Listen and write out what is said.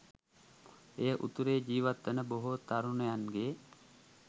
එය උතුරේ ජිවත් වන බොහෝ තරුණයන්ගේ